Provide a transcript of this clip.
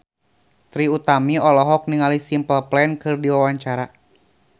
Trie Utami olohok ningali Simple Plan keur diwawancara